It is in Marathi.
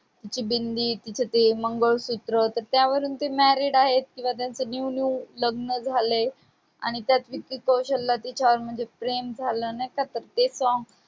तिची बिंदी, तिचं ते मंगळसूत्र त्यावरून ते married आहेत किंवा त्यांचं new new लग्न झालंय, आणि त्यात विकी कौशल प्रेम झालं नाही का तर ते song